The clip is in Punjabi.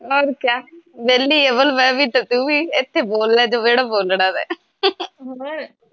ਆਹੋ ਓਹਨੂੰ ਕਹਿ ਵੇਹਲੀ ਮੈ ਵੀ ਤੇ ਤੂੰ ਵੀ ਇੱਥੇ ਬੋਲ ਲੈ ਜੋ ਜਿਹੜਾ ਬੋਲਣਾ ਤੇ